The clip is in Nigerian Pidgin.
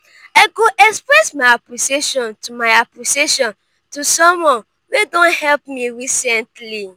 i go express my appreciation to my appreciation to someone wey don help me recently.